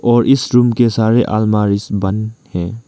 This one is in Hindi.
और इस रूम के सारे अलमारिज बंद हैं।